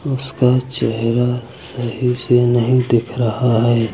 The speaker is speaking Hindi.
उसका चेहरा सही से नहीं दिख रहा है।